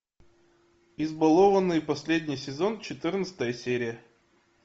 избалованный последний сезон четырнадцатая серия